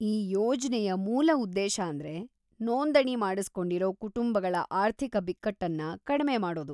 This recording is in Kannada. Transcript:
ಈ ಯೋಜ್ನೆಯ ಮೂಲ ಉದ್ದೇಶಾಂದ್ರೆ ನೋಂದಣಿ ಮಾಡಿಸ್ಕೊಂಡಿರೋ ಕುಟುಂಬಗಳ ಆರ್ಥಿಕ ಬಿಕ್ಕಟ್ಟನ್ನ ಕಡ್ಮೆ ಮಾಡೋದು.